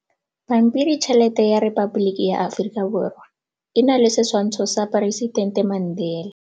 Pampiritšheletê ya Repaboliki ya Aforika Borwa e na le setshwantshô sa poresitentê Mandela.